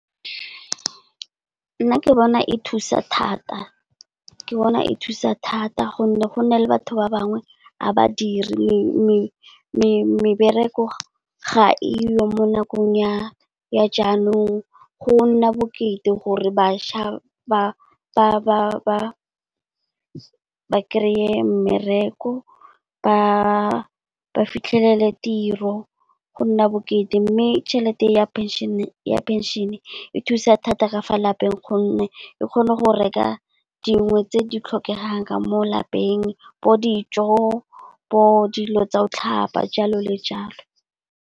Nna ke bona e thusa thata, ke bona e thusa thata gonne go nale batho ba bangwe a badire, mebereko ga e yo mo nakong ya jaanong, go nna bokete gore bašwa ba kry-e mmereko. Ba fitlhelele tiro, go nna bokete mme tšhelete ya penšene e thusa thata ka fa lapeng gonne e kgona go reka dingwe tse di tlhokegang ka mo lapeng bo dijo, bo dilo tsa o tlhapa jalo le jalo.